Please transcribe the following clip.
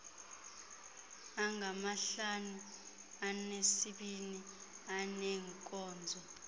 angamahlanu anesibini aneenkonzo